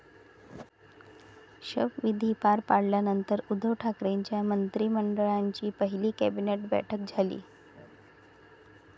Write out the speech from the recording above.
शपविधी पार पडल्यानंतर उद्धव ठाकरेंच्या मंत्रिमंडळाची पहिली कॅबिनेट बैठक झाली.